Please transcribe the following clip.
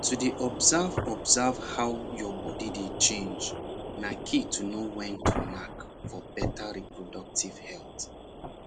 to dey observe observe how your body dey change na key to know when to knack for better reproductive health